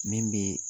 Min bɛ